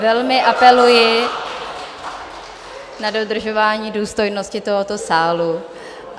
Velmi apeluji na dodržování důstojnosti tohoto sálu.